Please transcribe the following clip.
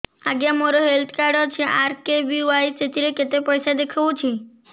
ଆଜ୍ଞା ମୋର health card ଅଛି ଆର୍.କେ.ବି.ୱାଇ ସେଥିରେ କେତେ ପଇସା ଦେଖଉଛି